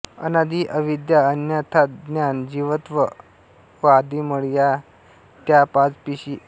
अनादि अविद्या अन्यथाज्ञान जीवत्व व आदिमळ या त्या पाच पिशी होत